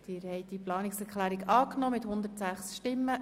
Sie haben diese Planungserklärung angenommen.